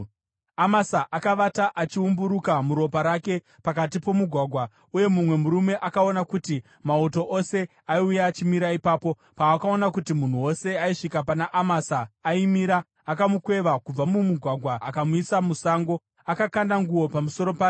Amasa akavata achiumburuka muropa rake pakati pomugwagwa. Uye mumwe murume akaona kuti mauto ose aiuya achimira ipapo. Paakaona kuti munhu wose aisvika pana Amasa aimira, akamukweva kubva mumugwagwa akamuisa musango, akakanda nguo pamusoro pake.